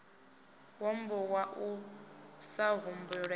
wambo wa u sa humbulela